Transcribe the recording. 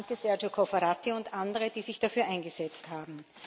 Danke, Sergio Cofferati und andere, die sich dafür eingesetzt haben.